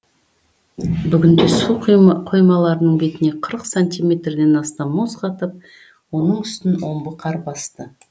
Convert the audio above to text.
бүгінде су қоймаларының бетіне қырық сантиметрден астам мұз қатып оның үстін омбы қар басты